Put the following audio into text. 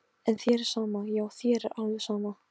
Í fyrstu kannaðist hún ekki við það og varð óróleg.